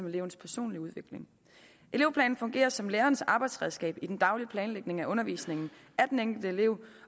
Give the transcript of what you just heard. elevens personlige udvikling elevplanen fungerer som lærerens arbejdsredskab i den daglige planlægning af undervisningen af den enkelte elev